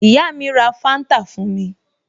Ìyá mi ra Fanta fún mi